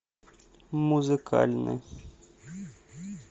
музыкальный